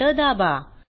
Enter दाबा